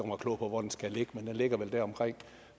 mig klog på hvor den skal ligge men den ligger vel deromkring